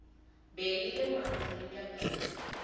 be e le moafrika ka